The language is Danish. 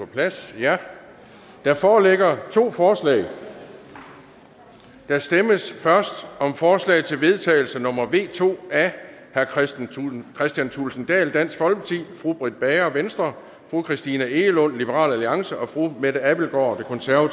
plads der foreligger to forslag der stemmes først om forslag til vedtagelse nummer v to af kristian thulesen dahl britt bager christina egelund og mette abildgaard